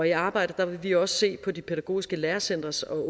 i arbejdet vil vi også se på de pædagogiske lærecentres og